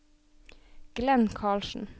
Glenn Karlsen